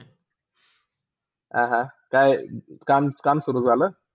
आह काय काम -काम सुरू झाल?